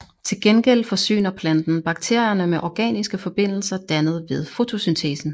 Til gengæld forsyner planten bakterierne med organiske forbindelser dannet ved fotosyntesen